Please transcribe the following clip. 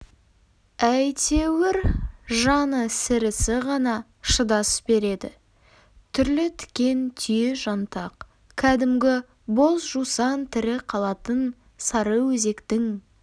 әйтеуір жаны сірісі ғана шыдас береді түрлі тікен түйе жантақ кәдімгі боз жусан тірі қалатын сарыөзектің